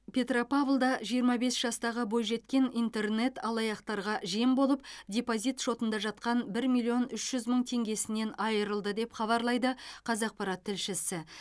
петропавлда жиырма бес жастағы бойжеткен интернет алаяқтарға жем болып депозит шотында жатқан бір миллион үш жүз мың теңгесінен айырылды деп хабарлайды қазақпарат тілшісі